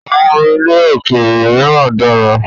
àwọn orin ilẹ̀ òkèèrè míràn dára.